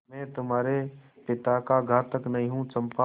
मैं तुम्हारे पिता का घातक नहीं हूँ चंपा